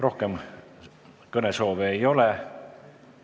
Rohkem kõnesoove ei ole.